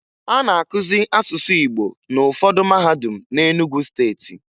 A na-akụzi asụsụ Igbo n'ụfọdụ mahadum na Enugwu Steeti